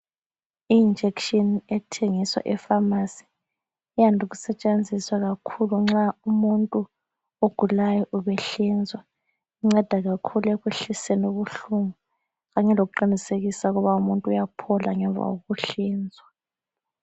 I-injection ethengiswa efamasi iyande ukusetshenziswa kakhulu nxa umuntu ubehlinzwa. Inceda kakhulu ekwehliseni ubuhlungu kanye lokuqinisekisa ukuthi umuntu uyaphola ngemva kokuhlinzwa.